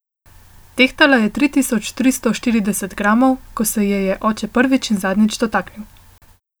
Tehtala je tri tisoč tristo štirideset gramov, ko se je je oče prvič in zadnjič dotaknil.